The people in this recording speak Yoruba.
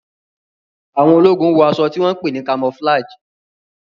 Àwọn ológun wọ aṣọ tí wón pé ní camouflage.